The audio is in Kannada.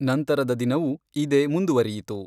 ನಂತರದ ದಿನವೂ, ಇದೇ ಮುಂದುವರಿಯಿತು.